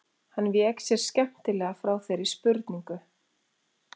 Hann vék sér skemmtilega frá þeirri spurningu.